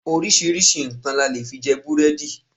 Oríṣiríṣi nǹkan la lè fi jẹ búrẹ́dì.